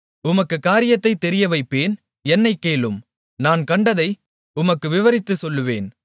உமக்குக் காரியத்தைத் தெரியவைப்பேன் என்னைக் கேளும் நான் கண்டதை உமக்கு விவரித்துச் சொல்லுவேன்